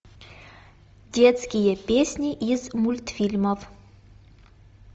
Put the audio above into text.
детские песни из мультфильмов